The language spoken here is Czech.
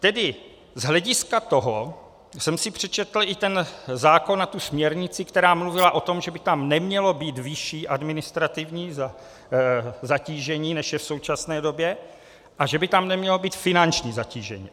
Tedy z hlediska toho jsem si přečetl i ten zákon a tu směrnici, která mluvila o tom, že by tam nemělo být vyšší administrativní zatížení, než je v současné době, a že by tam nemělo být finanční zatížení.